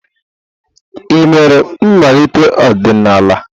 Ị mere mmalite ọdịnala?